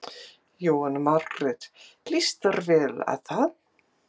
Jóhanna Margrét: Lýst þér vel á það?